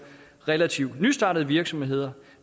relativt nystartede virksomheder